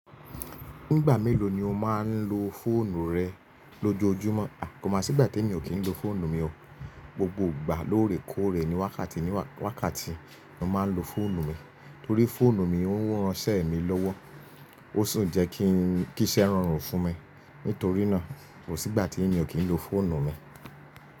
Nígbà mélòó ni o máa ń lo fóònù rẹ lójoojúmọ́? À kò mà sígbà tí mi ò kí ń ló fóònù mi o. Gbogbo ìgbà lóòrèkóòrè ni wákàtí ni wákàtí ni mà ń ló fóònù mi. Torí fóònù mi ó ń ránṣẹ́ mi lọ́wọ́, ó sùn jẹ́ kí iṣẹ́ rọrùn fún mi. Nítorínáà kò sígbà tí mi ò kí ń ló fóònù mi.